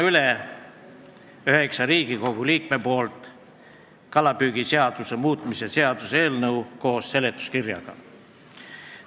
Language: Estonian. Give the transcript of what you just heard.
Annan üheksa Riigikogu liikme nimel üle kalapüügiseaduse muutmise seaduse eelnõu koos seletuskirjaga.